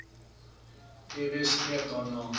tb streef daarna